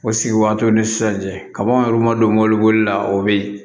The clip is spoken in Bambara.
O sigi waatiw ni sisan cɛ kaba yɔrɔ ma don mɔbili bolila o bɛ yen